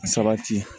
Sabati